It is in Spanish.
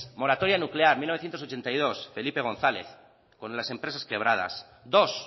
moratoria nuclear mil novecientos ochenta y dos felipe gonzález con las empresas quebradas dos